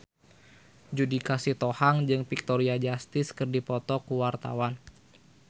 Judika Sitohang jeung Victoria Justice keur dipoto ku wartawan